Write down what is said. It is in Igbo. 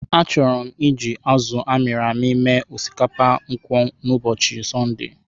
Achọrọ m iji azụ amiri-ami mee osikapa nkwụ n'ụbọchị Sọnde.